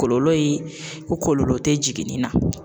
Kɔlɔlɔ ye ko kɔlɔlɔ te jiginni na